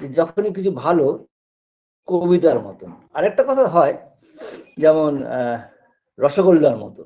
যে যখনই কিছু ভালো কবিতার মতন আরেকটা কথাও হয় যেমন আ রসগোল্লার মতো